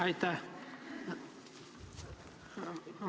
Aitäh!